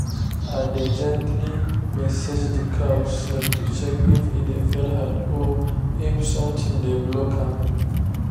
i dey gently massage the cow’s neck to check if e dey fell hard or if something dey block am.